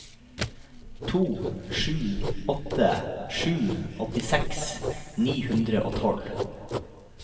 to sju åtte sju åttiseks ni hundre og tolv